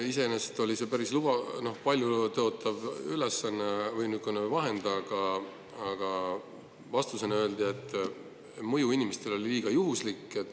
Iseenesest oli see päris paljutõotav vahend, aga vastuseks öeldi, et mõju inimestele on liiga juhuslik.